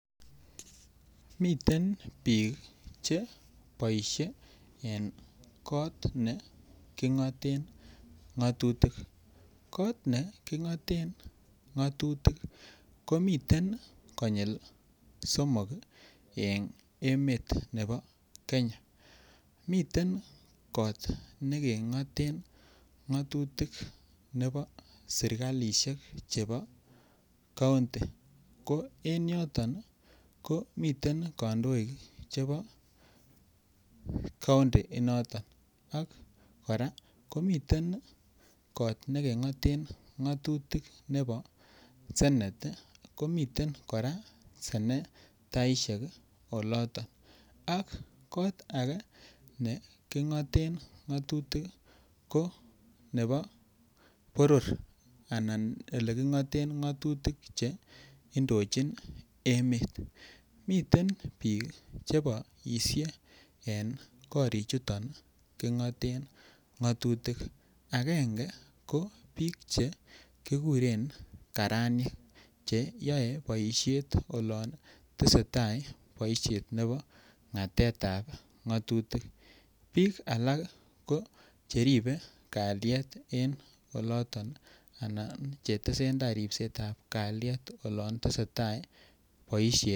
Miten bik che boisye en kot nekingoten ng'atutik kot nekingoten ng'atutik komii konyil somok en emet nebo Kenya miten kot nekingoten ng'atutik nebo serkalisiek chebo kaunti ko miten kandoik chebo kaunti inoto koraa komiten kot nekengoten ng'atutik nebo senet komiten kora senetaisiek oloto kot age nekingoten ngatutik ko nebo boror anan ko ole kingoten ngatutik Che indochin emet ko miten bik Che boisye en korichuto kingaten ng'atutik miten bik Che kekuren karanyek Che yoe boisiet olon tesetai boisiet nebo ngatetab ng'atutik bik bik alak ko cheribe kalyet en oloto Anan Che tesetai ripset ab kalyet olon tesetai boisiet